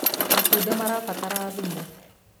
matunda marabatara thumu